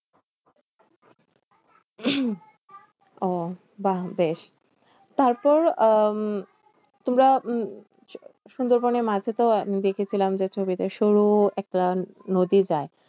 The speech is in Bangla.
ওহ বাহ্ বেশ তারপর আহ তোমরা উম সু~ সুন্দরবনে মাঝে তো দেখেছিলাম যে, ছবিতে সরু একটা নদী যায়।